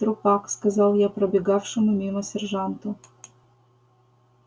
трупак сказал я пробегавшему мимо сержанту